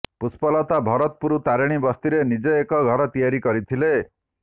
ପୁଷ୍ପଲତା ଭରତପୁର ତାରିଣୀ ବସ୍ତିରେ ନିଜେ ଏକ ଘର ତିଆରି କରିଥିଲେ